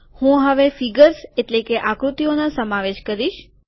હું હવે ફીગર્સ એટલે કે આકૃતિઓનો સમાવેશ કરીશ